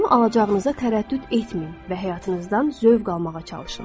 Onu alacağınıza tərəddüd etməyin və həyatınızdan zövq almağa çalışın.